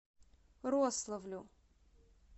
рославлю